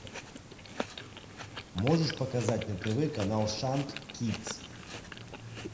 можешь показать на тв канал шант кидс